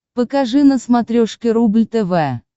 покажи на смотрешке рубль тв